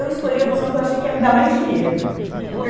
Eu escolhi a opção que eu achei que ia me dar mais dinheiro.